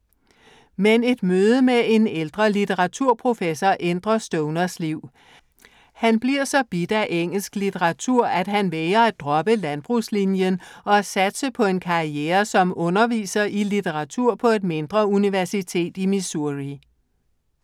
Men et møde med en ældre litteraturprofessor ændrer Stoners liv. Han bliver så bidt af engelsk litteratur, at han vælger at droppe landbrugslinjen og satse på en karriere som underviser i litteratur på et mindre universitet i Missouri.